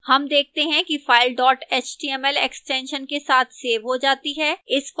हम देखते हैं कि फ़ाइल dot html extension के साथ सेव हो जाती है